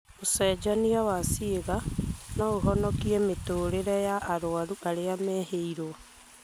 ũcenjania wa ciĩga noũhonokie mĩtũrĩre ya arwaru arĩa mehĩirwo